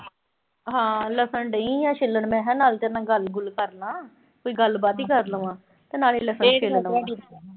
ਹਾਂ ਲਸਣ ਡਈ ਆਂ ਛਿੱਲਣ ਮੈਂ। ਮੈਂ ਕਿਆ ਨਾਲੇ ਤੇਰੇ ਨਾਲ ਗੱਲ-ਗੁੱਲ ਕਰਲਾਂ, ਕੋਈ ਗੱਲਬਾਤ ਈ ਕਰ ਲਵਾਂ ਤੇ ਨਾਲੇ ਲਸਣ ਛਿੱਲ ਲਵਾਂ।